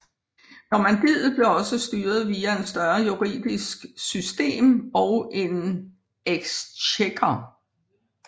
Normandiet blev også styret via en større juridisk system og en exchequer